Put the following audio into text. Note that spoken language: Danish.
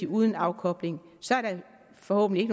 uden afkobling så er der forhåbentlig